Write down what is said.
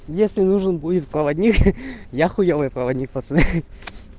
если нужен будет проводник я хуёвый проводник пацаны